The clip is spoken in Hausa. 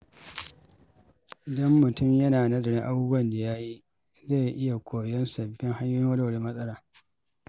Idan mutum yana nazarin abubuwan da ya yi, zai iya koyan sabbin hanyoyin warware matsala.